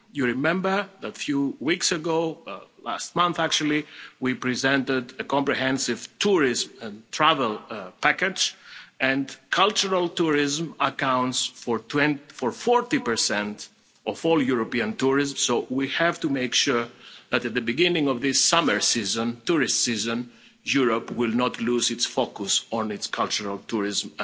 You remember that a few weeks ago, last month actually, we presented a comprehensive tourism and travel package and cultural tourism accounts for 40 of all European tourists, so we have to make sure that at the beginning of this summer tourist season, Europe will not lose its focus on its cultural tourism